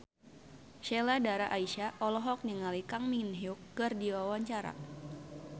Sheila Dara Aisha olohok ningali Kang Min Hyuk keur diwawancara